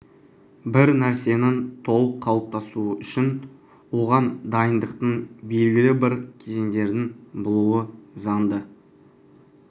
бір нәрсенің толық қалыптасуы үшін оған дайындықтың белгілі бір кезеңдердің болуы заңды